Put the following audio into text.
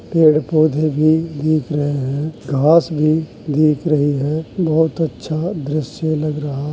पेड़ पौधे भी दीख रहे हैं घास भी दीख रही है। बोहत अच्छा दृश्य लग रहा --